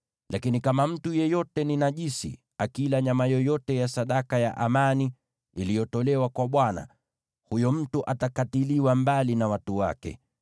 Lakini kama mtu yeyote najisi akila nyama yoyote ya sadaka ya amani iliyotolewa kwa Bwana , huyo mtu lazima akatiliwe mbali na watu wake.